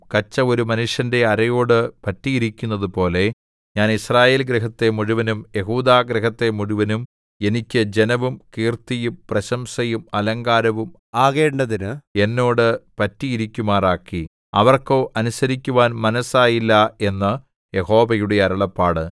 കച്ച ഒരു മനുഷ്യന്റെ അരയോടു പറ്റിയിരിക്കുന്നതുപോലെ ഞാൻ യിസ്രായേൽഗൃഹത്തെ മുഴുവനും യെഹൂദാഗൃഹത്തെ മുഴുവനും എനിക്ക് ജനവും കീർത്തിയും പ്രശംസയും അലങ്കാരവും ആകേണ്ടതിന് എന്നോട് പറ്റിയിരിക്കുമാറാക്കി അവർക്കോ അനുസരിക്കുവാൻ മനസ്സായില്ല എന്ന് യഹോവയുടെ അരുളപ്പാട്